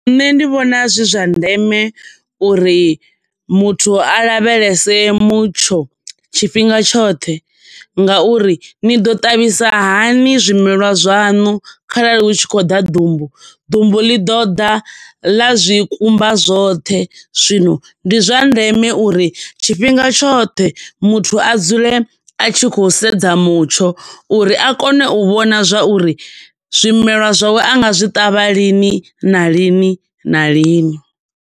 Nṋe ndi vhona zwi zwa ndeme uri muthu a lavhelese mutsho tshifhinga tshoṱhe nga uri ni ḓo ṱavhisa hani zwimelwa zwaṋu kharali hu tshi khou ḓa ḓumbu. Ḓumbu ḽi ḓo ḓa ḽa zwi kumba zwoṱhe, zwino ndi zwa ndeme uri tshifhinga tshoṱhe muthu a dzule a tshi khou sedza mutsho uri a kone u vhona zwauri zwimelwa zwawe a nga zwi ṱavha lini na lini na lini.